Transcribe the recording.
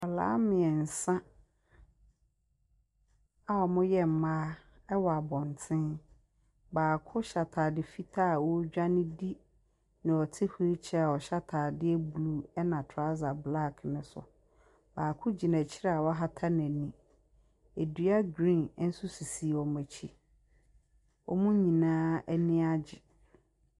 Nkwadaa mmiɛnsa ɔmu yɛ mmea ɛwɔ abonten baako hyɛ ataadeɛ fitaa ɔtwane di nea ɔte wheel chair ɔhyɛ ataadeɛ blue ɛna trouser black no so baako gyina akyire a wahata neni ɛdua green nso sisi wɔn akyire ɔmu nyinaa anigyeɛ.